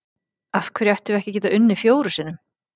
Af hverju ættum við ekki að geta unnið fjórum sinnum?